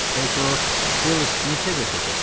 Bəlkə o Phil Smith-lə görüşəcəksən?